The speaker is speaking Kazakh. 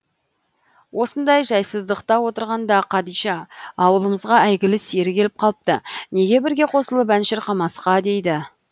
осындай жайсыздықта отырғанда қадиша ауылымызға әйгілі сері келіп қалыпты неге бірге қосылып ән шырқамасқа дейді